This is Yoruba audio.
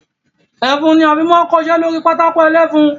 Ẹfun ni a fi máa ń kọ iṣẹ́ lórí pátákó ẹlẹ́fun.